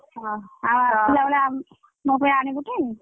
ଆଉ ଆସିଲା ବେଳେ ମୋ ପାଇଁ ଆଣିବୁ ଟି?